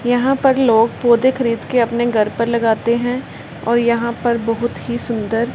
यहां पर लोग पोधे खरीद के अपने घर पर लगाते हैं और यहां पर बहुत ही सुंदर--